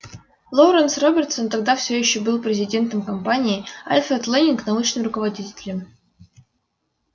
лоуренс робертсон тогда всё ещё был президентом компании альфред лэннинг научным руководителем